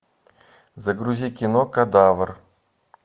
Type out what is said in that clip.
загрузи кино кадавр